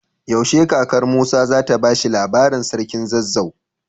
Yaushe kakar musa zata bashi labarin sarkin zazzau?